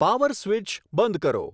power switch બંધ કરો